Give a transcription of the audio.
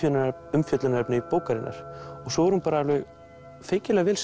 umfjöllunarefni bókarinnar og svo er hún bara alveg feikilega vel